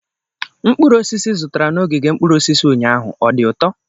Mkpụrụ osisi ị zụtara n'ogige mkpụrụ osisi ụnyaahụ, ọ dị ụtọ?